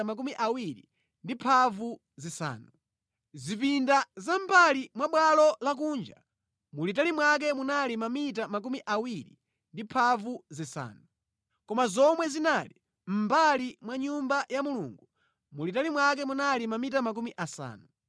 Zipinda za mʼmbali mwa bwalo lakunja mulitali mwake munali mamita 25. Koma zomwe zinali mʼmbali mwa Nyumba ya Mulungu, mulitali mwake munali mamita makumi asanu.